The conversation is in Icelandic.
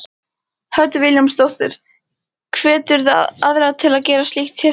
Hödd Vilhjálmsdóttir: Hveturðu aðra til að gera slíkt hið sama?